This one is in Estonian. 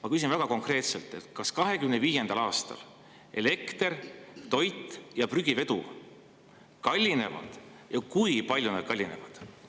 Ma küsin väga konkreetselt: kas 2025. aastal elekter, toit ja prügivedu kallinevad ja kui palju nad kallinevad?